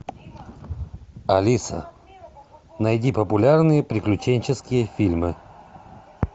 алиса найди популярные приключенческие фильмы